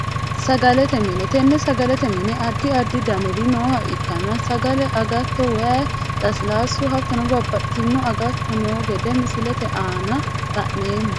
Sagalete mine tene sagalete mine adi adi daniri nooha ikana sagale agatto waayi lasilaasu hatono babaxitino agato noo gede misilete aana lenoomo.